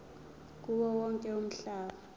kuwo wonke umhlaba